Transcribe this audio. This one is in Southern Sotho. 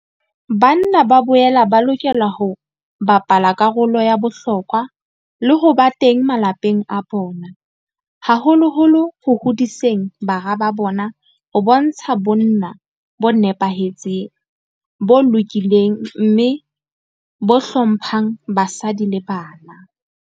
Banna ba boela ba lokela ho bapala karolo ya bohlokwa le ho ba teng malapeng a bona, haholoholo ho hodiseng bara ba bona ho bontsha bonna bo nepahetseng, bo lokileng mme bo hlo mphang basadi le bana.